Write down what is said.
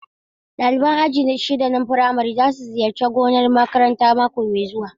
Ɗalibai aji shida na firamare za su ziyarci gonar makarantar mako mai zuwa.